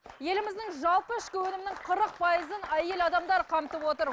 еліміздің жалпы ішкі өнімінің қырық пайызын әйел адамдар қамтып отыр